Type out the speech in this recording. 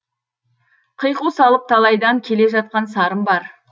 қиқу салып талайдан келе жатқан сарын бар